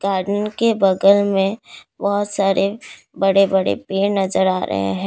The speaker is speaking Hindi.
गार्डन के बगल में बहुत सारे बड़े बड़े पेड़ नजर आ रहे हैं।